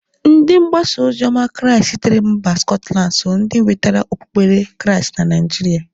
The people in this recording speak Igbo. Ndi mgbasaozioma crịast sitere mba skọtland so ndi nwetara okpukpere crịast na Naijịrịa.